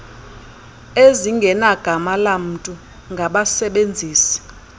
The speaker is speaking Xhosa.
ezingenagama lamntu ngabasebenzisi